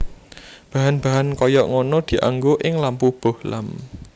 Bahan bahan kaya ngono dianggo ing lampu bohlam